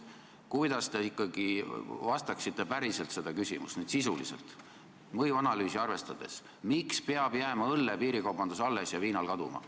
Kuidas te ikkagi päriselt vastaksite mõjuanalüüsi arvestades küsimusele, miks peab õlle piirikaubandus alles jääma ja viina oma kaduma?